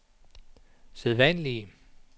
sædvanlige